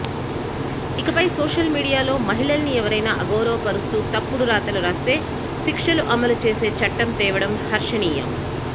ఇకపై సోషల్ మీడియాలో మహిళల్ని ఎవరైనా అగౌరవపరుస్తూ తప్పుడు రాతలు రాస్తే శిక్షలు అమలుచేసే చట్టం తేవడం హర్షనీయం